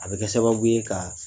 A bɛ kɛ sababu ye ka